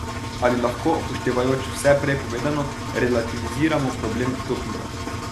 Ali lahko, upoštevajoč vse prej povedano, relativiziramo problem dopinga?